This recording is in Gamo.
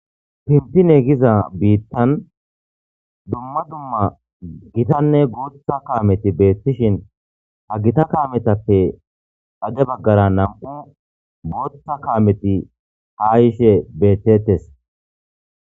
Benzine giza biittan dumma dumma gitanne guuththa kaameti beetishin ha gita kametappe xade baggara nam'u booththa kaameti hayishe betteetees.